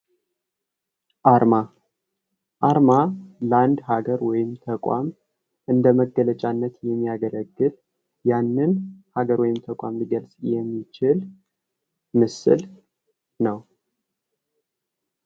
አርማ፦ አርማ ለአንድ ሀገር ወይም ተቋም እንደመገለጫነት የሚያገለግል ያንን አገሩን ተቋማት ሊገልጽ የሚችል ምስል ነው